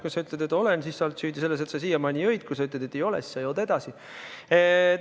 Kui sa ütled, et olen, siis sa oled süüdi selles, et sa siiamaani jõid, kui sa ütled, et ei ole, siis sa järelikult jood edasi.